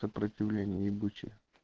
сопротивление ебучее